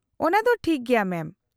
-ᱚᱱᱟᱫᱚ ᱫᱚ ᱴᱷᱤᱠ ᱜᱮᱭᱟ ᱢᱮᱢ ᱾